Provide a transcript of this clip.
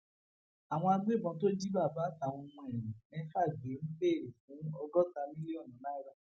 àwọn agbébọn tó jí bàbá àtàwọn ọmọ ẹ mẹfà gbé ń béèrè fún ọgọta mílíọnù náírà